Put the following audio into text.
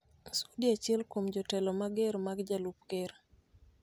Sudi, achiel kuom jotelo mager mag jalup ker,